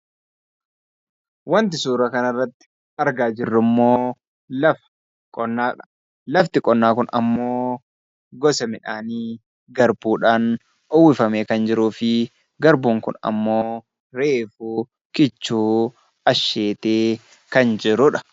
Waanti suura kana irratti argaa jirru immoo, lafa qonnaa. Lafti qonnaa Kun immoo gosa midhaanii garbuudhaan uwwifamee kan jiruu fi garbuun Kun immoo reefu kichuu asheetee kan jirudha.